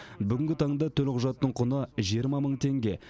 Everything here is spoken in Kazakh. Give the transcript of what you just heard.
бүгінгі таңда төлқұжаттың құны жиырма мың теңге